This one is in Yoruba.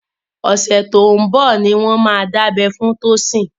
Ọ̀sẹ̀ tó ń bọ̀ ni wọ́n máa dábẹ́ fún Tosin